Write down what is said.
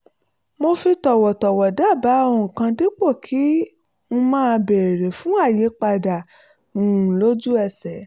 mo fi tọ̀wọ̀tọ̀wọ̀ dábàá ohun kan dípò kí n máa béèrè fún àyípadà um lójú ẹsẹ̀